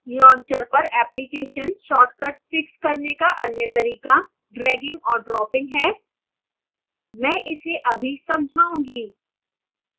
launcher पर application shortcuts fix करने का अन्य तरीका dragging और dropping है मैं इसे अभी समझाऊँगा